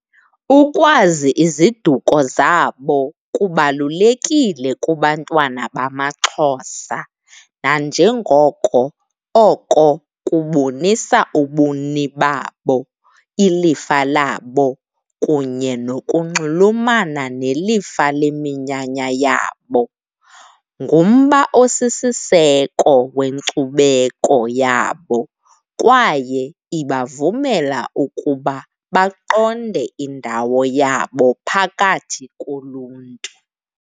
Ukwazi iziduko zabo kubalulekile kubantwana bamaXhosa nanjengoko oko kubonisa ubuni babo, ilifa labo kunye nokunxulumana nelifa leminyanya yabo. Ngumba osisiseko wenkcubeko yabo kwaye ibavumela ukuba baqonde indawo yabo phakathi koluntu.